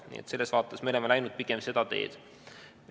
Nii et selles vaates me oleme läinud pigem seda teed.